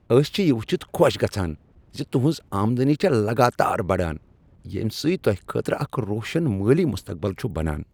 أسۍ چھ یہ وچھتھ خۄش گژھان ز تہنٛز آمدنی چھےٚ لگاتار بڑان، ییٚمہ سۭتۍ تۄہہ خٲطرٕ اکھ روشن مٲلی مستقبل چھ بنان۔